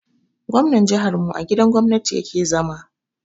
Gwamnan jihar mu a gidan gwamnati ya ke zama